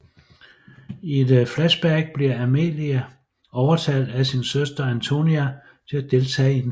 I et flashback bliver Amelia overtalt af sin søster Antonia til at deltage i en fest